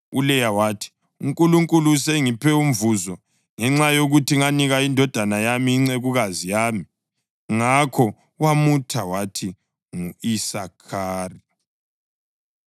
ULeya wathi, “UNkulunkulu usengiphe umvuzo ngenxa yokuthi nganika indoda yami incekukazi yami.” Ngakho wamutha wathi ngu-Isakhari.